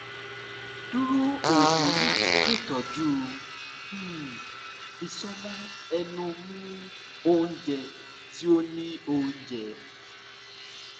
duro oogun yii ṣetọju um isọmọ ẹnu mu ounjẹ ti o ni ounjẹ